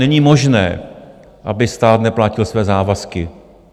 Není možné, aby stát neplatil své závazky.